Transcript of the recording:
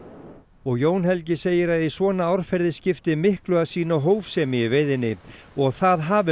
og Jón Helgi segir að í svona árferði skipti miklu að sýna hófsemi í veiðinni það hafi